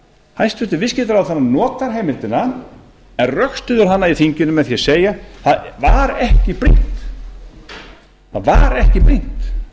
hæstvirtur viðskiptaráðherra notar heimildina hann rökstyður hana í þinginu með því að segja það var ekki brýnt